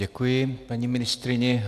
Děkuji paní ministryni.